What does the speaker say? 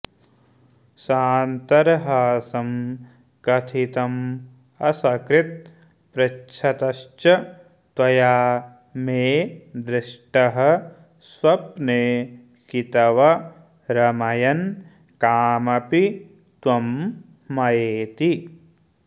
सान्तर्हासं कथितमसकृत् पृच्छतश्च त्वया मे द्र्ष्टः स्वप्ने कितव रमयन् कामपि त्वं मयेति